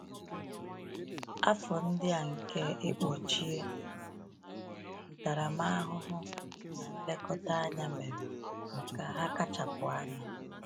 Afọ ndị a nke ịkpọchie, ntaramahụhụ, na nlekọta anya mere ka ha kachapụ anya.